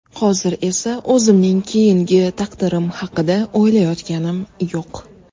Hozir esa o‘zimning keyingi taqdirim haqida o‘ylayotganim yo‘q.